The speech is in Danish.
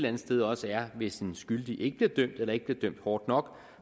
andet sted også er hvis den skyldige ikke bliver dømt eller ikke bliver dømt hårdt nok